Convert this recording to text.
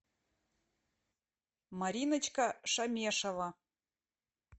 мариночка шамешова